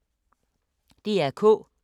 DR K